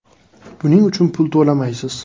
Buning uchun pul to‘lamaysiz.